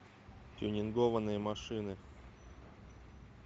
тюнингованные машины